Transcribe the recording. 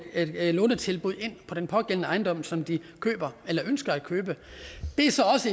et lånetilbud på den på den ejendom som de ønsker at købe det er så